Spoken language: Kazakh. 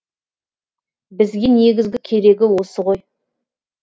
бізге негізгі керегі осы ғой